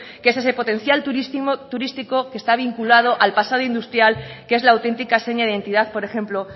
que es ese potencial turístico que está vinculado al pasado industrial que es la auténtica seña de identidad por ejemplo